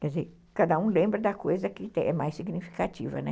Quer dizer, cada um lembra da coisa que é mais significativa, né?